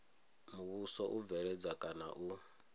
muvhuso u bveledza kana u